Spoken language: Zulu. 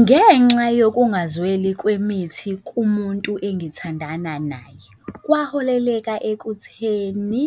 Ngenxa yokungazweli kwemithi kumuntu engithandana naye, kwaholeka ekutheni